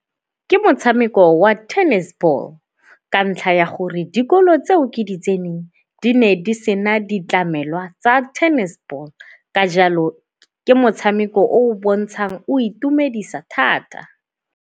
Ke motshameko wa tennis ball ka ntlha ya gore dikolo tseo ke di tseneng di ne di sena ditlamelwa tsa tennis ball ka jalo ke motshameko o o bontshang o itumedisa thata.